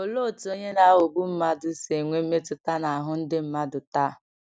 Olee otú onye na-aghọgbu mmadụ si enwe mmetụta n’ahụ ndị mmadụ taa?